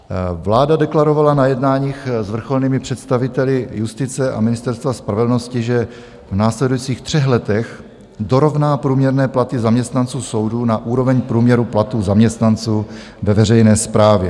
Vláda deklarovala na jednáních s vrcholnými představiteli justice a Ministerstva spravedlnosti, že v následujících třech letech dorovná průměrné platy zaměstnanců soudů na úroveň průměru platů zaměstnanců ve veřejné správě.